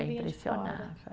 Impressionava